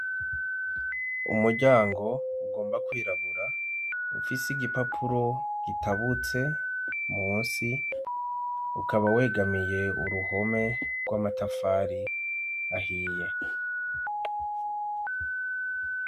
Umuryango ugomba kwirabura ufise igipapuro gitabutse munsi ukaba wegamiye uruhome rw'amatafari ahiye.